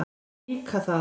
Líka það.